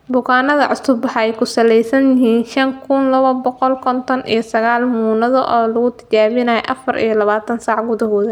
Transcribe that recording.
Bukaannada cusub waxay ku saleysan yihiin shan kun laba boqol konton iyo sagaal muunado oo lagu tijaabiyay afaar iyo labatan-saac gudahood.